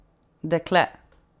Dekle!